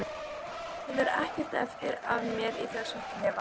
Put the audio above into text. Bráðum verður ekkert eftir af mér í þessum klefa.